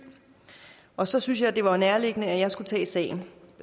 og så synes jeg det var nærliggende at jeg skulle tage sagen